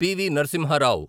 PV. Narasimha Rao